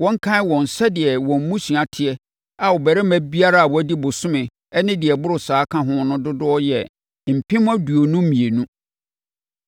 wɔnkan wɔn sɛdeɛ wɔn mmusua teɛ a ɔbarima biara a wɔadi bosome ne deɛ ɛboro saa ka ho no dodoɔ yɛ mpem aduonu mmienu (22,000).